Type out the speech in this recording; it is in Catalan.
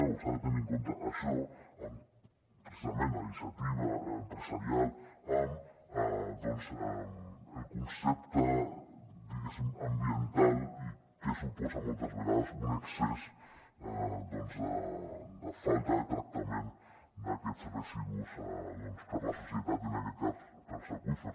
o s’ha de tenir en compte això i precisament la iniciativa empresarial i doncs el concepte diguéssim ambiental i què suposa moltes vegades un excés de falta de tractament d’aquests residus per a la societat i en aquest cas per als aqüífers